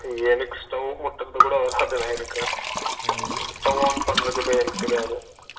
எனக்கு stove பத்தவேக்கிறது கூட வராதுண்ணா என்னக்கு stove on பண்றது கூட எனக்கு தெரியாது